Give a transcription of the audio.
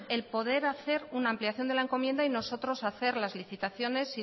el poder hacer una ampliación de la encomienda y nosotros hacer las licitaciones